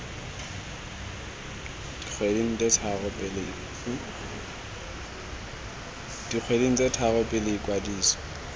dikgweding tse tharo pele ikwadiso